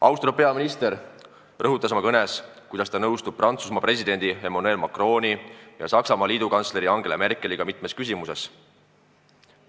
Austatud peaminister rõhutas oma kõnes, et ta nõustub Prantsusmaa presidendi Emmanuel Macroni ja Saksamaa liidukantsleri Angela Merkeliga mitmes küsimuses.